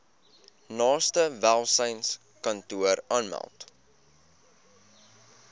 naaste welsynskantoor aanmeld